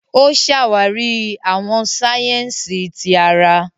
O ṣàwarí àwọn sáyẹ́nsì tí àrà.